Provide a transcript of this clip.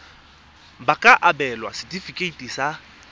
ba ka abelwa setefikeiti sa